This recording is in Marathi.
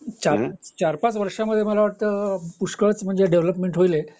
चार पाच वर्षामध्ये मला तर वाटत पुष्कळच डेवलपमेंट होईल हे